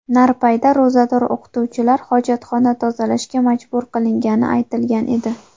Narpayda ro‘zador o‘qituvchilar hojatxona tozalashga majbur qilingani aytilgan edi.